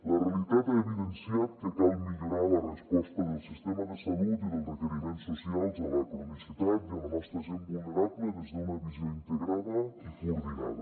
la realitat ha evidenciat que cal millorar la resposta del sistema de salut i dels requeriments socials a la cronicitat i a la nostra gent vulnerable des d’una visió integrada i coordinada